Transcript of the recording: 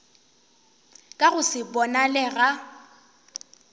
ka go se bonale ga